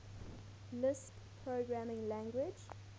lisp programming language